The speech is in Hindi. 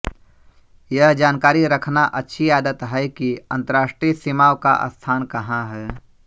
यह जानकारी रखना अच्छी आदत है कि अंतरराष्ट्रीय सीमाओं का स्थान कहां है